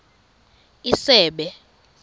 isebe